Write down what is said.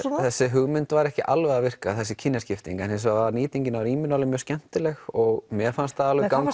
þessi hugmynd var ekki alveg að virka þessi kynjaskipting hins vegar var nýtingin á rýminu alveg skemmtileg og mér fannst það alveg ganga